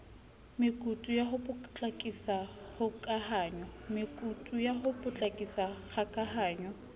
mekutu ya ho potlakisa kgokahanyo